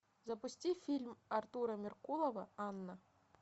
запусти фильм артура меркулова анна